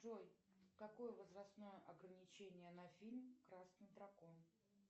джой какое возрастное ограничение на фильм красный дракон